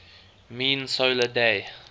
mean solar day